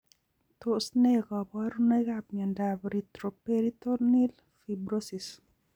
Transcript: Tos ne kaborunoikap miondop retroperitoneal fibrosis?